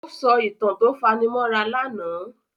Ó sọ ìtàn tó fani mọ́ra lánàá.